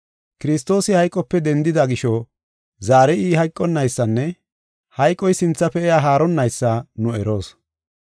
Kiristoosi hayqope dendida gisho, zaari I hayqonaysanne hayqoy sinthafe iya haaronnaysa nu eroos.